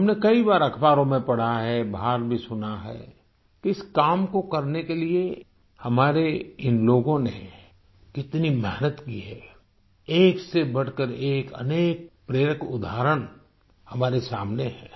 हमने कई बार अख़बारों में पढ़ा है बाहर भी सुना है इस काम को करने के लिए हमारे इन लोगों ने कितनी मेहनत की है एक से बढ़कर एक अनेक प्रेरक उदाहरण हमारे सामने हैं